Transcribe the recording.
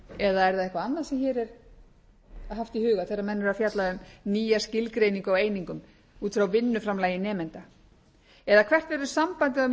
eða er það eitthvað annað sem hér er haft í huga þegar menn eru að fjalla um nýja skilgreiningu á einingum út frá vinnuframlagi nemenda eða hvert verður sambandið á